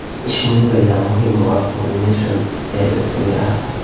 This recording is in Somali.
Shinidu ayaa muhiim u ah pollination ee dhirta miraha.